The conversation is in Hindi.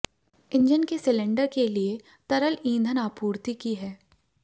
इंजन के सिलेंडर के लिए तरल ईंधन आपूर्ति की है